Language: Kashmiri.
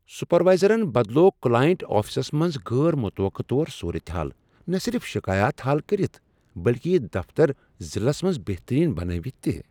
سپروایزرن بدلٲو کلاینٛٹ آفسس منٛز غیر متوقع طور صورت حال نہ صرف شکایات حل کٔرتھ بلکہ یہ دفتر ضلعس منز بہترین بنٲوتھ تہ۔